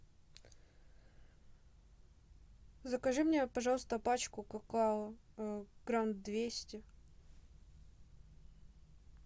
закажи мне пожалуйста пачку какао грамм двести